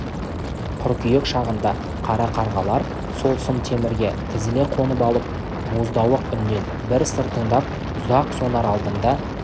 қыркүйек шағында қара қарғалар сол сым темірге тізіле қонып алып боздауық үннен бір сыр тыңдап ұзақ сонар алдында